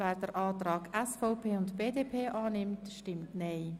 wer die Anträge SVP und BDP annehmen will, stimmt Nein.